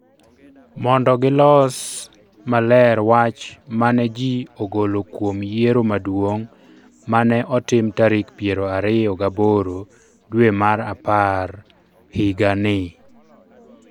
Mondo gilos maler wach ma ne ji ogolo kuom yiero maduong’ ma ne otim tarik piero ariyo gaboro dwe mar apar higa ni.